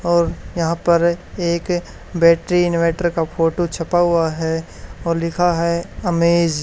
और यहां पर एक बैटरी इनवर्टर का फोटो छपा हुआ है और लिखा है अमेज ।